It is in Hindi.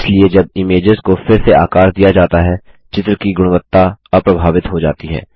इसलिए जब इमेज़ेस को फिरसे आकार दिया जाता है चित्र की गुणवत्ता अप्रभावित हो जाती है